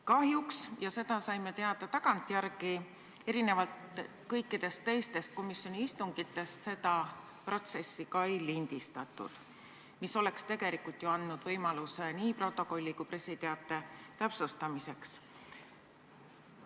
Kahjuks – ja seda saime teada tagantjärele – erinevalt kõikidest teistest komisjoni istungitest seda protsessi ei lindistatud, mis tegelikult oleks andnud võimaluse nii protokolli kui ka pressiteadet täpsustada.